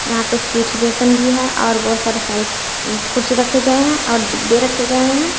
यहां पर सीट जैसन भी है और बहोत सारे कुर्सी रखे गए हैं और बै रखे गए हैं।